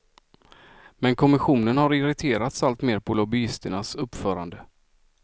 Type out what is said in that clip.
Men kommissionen har irriterats allt mer på lobbyisternas uppförande.